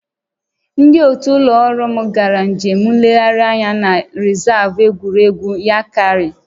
Ndị otu ụlọ ọrụ m gara njem nlegharị anya na rịzaavụ egwuregwu Yankari